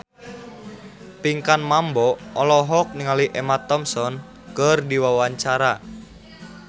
Pinkan Mambo olohok ningali Emma Thompson keur diwawancara